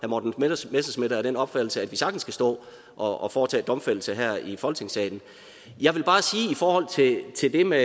morten messerschmidt er af den opfattelse at vi sagtens kan stå og foretage domfældelse her i folketingssalen jeg vil bare i forhold til det med